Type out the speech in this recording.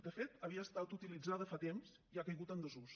de fet havia estat utilitzada fa temps i ha caigut en desús